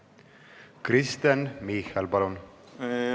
Kristen Michal, palun!